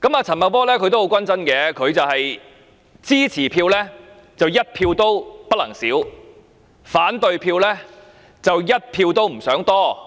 陳茂波也很關注，支持他的票，一票也不能少，反對票則一票也不想多。